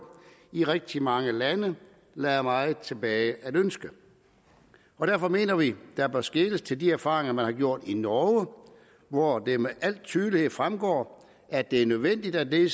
i rigtig mange lande lader meget tilbage at ønske derfor mener vi der bør skeles til de erfaringer man har gjort i norge hvor det med al tydelighed fremgår at det er nødvendigt at de